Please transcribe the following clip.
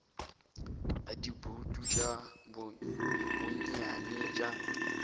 ya dibouto tša bonnyane bja